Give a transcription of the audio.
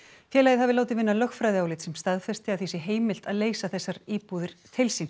félagið hafi látið vinna lögfræðiálit sem staðfesti að því sé heimilt að leysa þessar íbúðir til sín